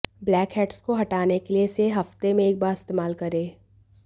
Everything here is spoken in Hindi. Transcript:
ब्लैकहैड्स को हटाने के लिए इसे हफ्ते में एक बार इस्तेमाल करें